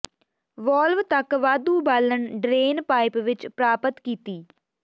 valve ਤੱਕ ਵਾਧੂ ਬਾਲਣ ਡਰੇਨ ਪਾਈਪ ਵਿਚ ਪ੍ਰਾਪਤ ਕੀਤੀ